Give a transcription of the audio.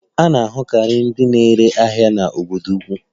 A na-ahụkarị ndị na-ere ahịa n'obodo ukwu.